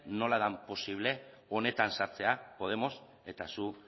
nola den posible honetan sartzea podemos eta zu